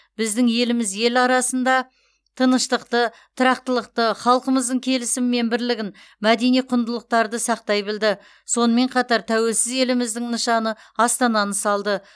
біздің еліміз ел арасында тыныштықты тұрақтылықты халқымыздың келісімі мен бірлігін мәдени құндылықтарын сақтай білді сонымен қатар тәуелсіз еліміздің нышаны астананы салды